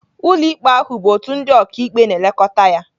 Ụlọikpe ahụ bụ òtù ndị ọkàikpe na-elekọta ya.